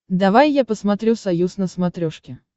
давай я посмотрю союз на смотрешке